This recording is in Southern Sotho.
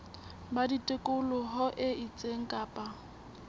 ba tikoloho e itseng kapa